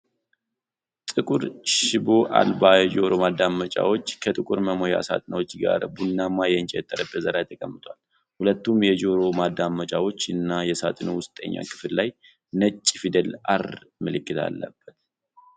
ጥቁር ሽቦ አልባ የጆሮ ማዳመጫዎች ከጥቁር መሙያ ሳጥናቸው ጋር ቡናማ የእንጨት ጠረጴዛ ላይ ተቀምጠዋል። ሁለቱም የጆሮ ማዳመጫዎች እና የሳጥኑ ውስጠኛ ክፍል ላይ ነጭ ፊደል “R” ምልክት አለ።